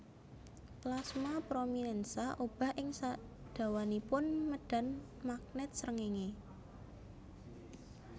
Plasma prominènsa obah ing sadawanipun médhan magnèt srengéngé